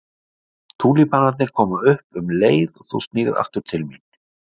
Túlípanarnir koma upp um leið og þú snýrð aftur til mín.